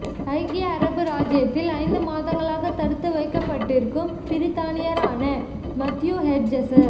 ஐக்கிய அரபு ராச்சியத்தில் ஐந்து மாதங்களாக தடுத்து வைக்கப்பட்டிருக்கும் பிரித்தானியரான மத்தியூ ஹெட்ஜஸ